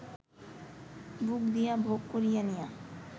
বুক দিয়া ভোগ করিয়া নিয়া